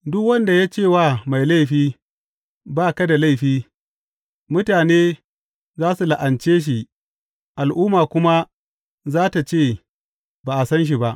Duk wanda ya ce wa mai laifi, Ba ka da laifi, mutane za su la’ance shi al’umma kuma za tă ce ba a san shi ba.